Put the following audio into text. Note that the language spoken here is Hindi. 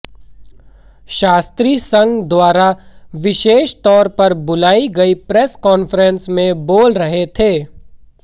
शास्त्री संघ द्वारा विशेष तौर पर बुलाई गई प्रेस कांफ्रेंस में बोल रहे थे